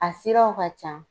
A siraw ka can.